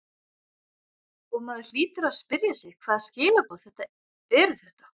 Og maður hlýtur að spyrja sig hvaða skilaboð eru þetta?